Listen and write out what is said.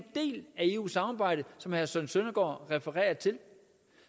eu samarbejdet som herre søren søndergaard refererer til